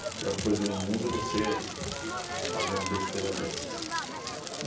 A pior coisa no mundo é você f fazer uma besteira dessas.